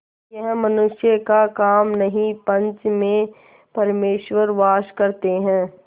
यह मनुष्य का काम नहीं पंच में परमेश्वर वास करते हैं